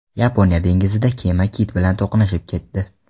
Yaponiya dengizida kema kit bilan to‘qnashib ketdi.